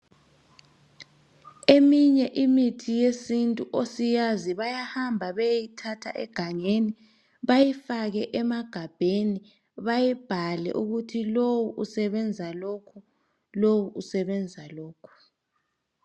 Eminye imithi yesintu osiyazi bayahamba beyeyithatha egangeni bayifake emagabheni bayibhale ukuthi lowu usebenza lokhu, lowu usebenza lokhu.